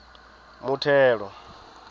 muthelo